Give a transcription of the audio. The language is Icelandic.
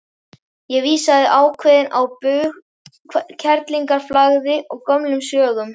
Vísaði ákveðin á bug kerlingarflagði og gömlum sögum.